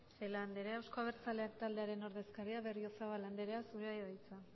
celaá andrea euzko abertzaleak taldearen ordezkaria berriozabal andrea zurea da hitza